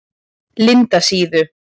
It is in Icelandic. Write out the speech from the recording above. Lindasíðu